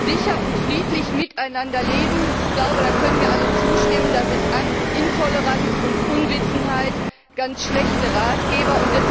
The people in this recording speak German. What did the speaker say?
Sicher und friedlich miteinander leben ich glaube, da können mir alle zustimmen da sind Angst, Intoleranz und Unwissenheit ganz schlechte Ratgeber.